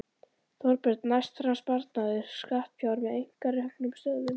Þorbjörn: Næst fram sparnaður skattfjár með einkareknum stöðvum?